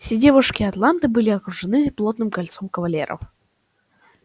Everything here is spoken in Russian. все девушки атланты были окружены плотным кольцом кавалеров